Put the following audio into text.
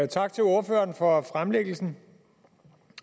tak til ordføreren for fremlæggelsen